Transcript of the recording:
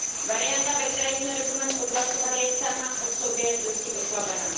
Varianta, ve které jsme dokument odhlasovali, je sama o sobě dosti oslabená.